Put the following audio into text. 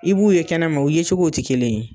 I b'u ye kɛnɛma o ye cogow tɛ kelen ye.